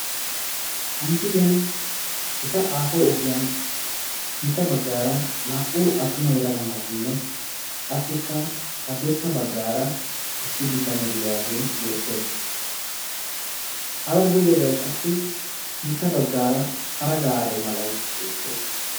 Ha missiliyan gita aaho ogiyan sintta baggaara naa"u attuma yelaga naati qassikka haddirssa bagaara issi bitanee diyaagee beettees, hara gujjobay qassi sintta bagaara para gaare malay beettees.